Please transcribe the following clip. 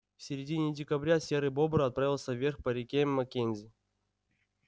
в середине декабря серый бобр отправился вверх по реке маккензи